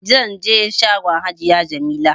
Zanje shagon hajiya jamila